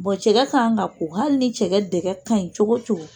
Bon cɛkɛ kan ka ka ko, hali ni cɛkɛ dɛgɛ ka ɲin cogo o cogo.